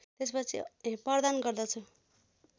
प्रदान गर्दछु